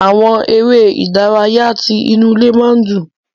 Àwọn eré ìdárayá tí inú ilé máa n dùn.